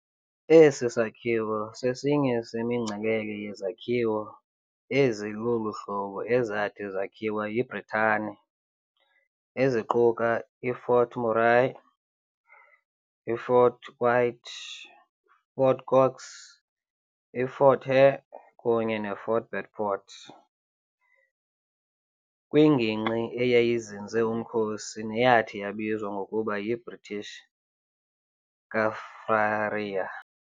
Esi sakhiwo sesinye semingcelele yezakhiwo ezi lolu hlobo ezathi zakhiwa yiBritane, eziquka iFort Murray, iFort White, iFort Cox, iFort Hare kunye neFort Beaufort, kwingingqi eyayizinze umkhosi neyathi yabizwa ngokuba yiBritish Kaffraria.